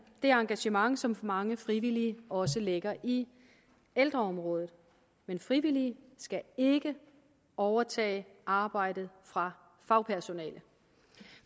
det engagement som mange frivillige også lægger i ældreområdet men frivillige skal ikke overtage arbejdet fra fagpersonalet